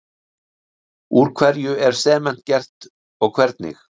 Úr hverju er sement gert og hvernig?